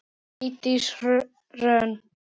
Eydís Hrönn.